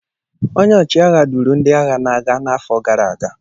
Onye ọchịagha duuru ndị agha n’agha n’afọ gara aga